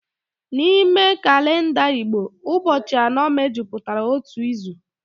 N'ime kalenda Igbo, ụbọchị anọ mejupụtara otu izu